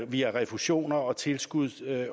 via refusioner og tilskud